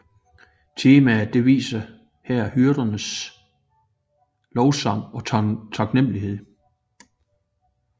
Temaet viser her hyrdernes lovsang og taknemmelighed